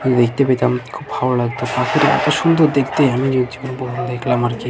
দেখতে পেতাম খুব ভালো লাগতেছি সুন্দর দেখতে ঊপহার দেক্লাম আর কী ?